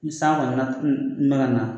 San ne ka na